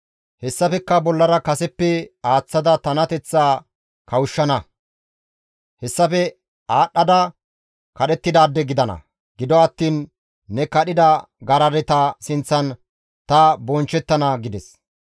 Hessafekka bollara kaseppe aaththada tanateththaa kawushshana; hessafe aadhdhada kadhettidaade gidana; gido attiin ne kadhida garadeta sinththan ta bonchchettana» gides.